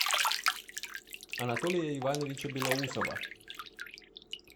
анатолия ивановича белоусова